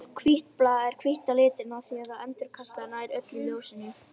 Við erum ennþá að fá á okkur of mörg mörk, sérstaklega á útivelli.